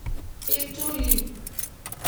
Iltuli.